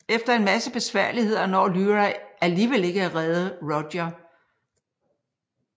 Efter en masse besværligheder når Lyra alligevel ikke at redde Roger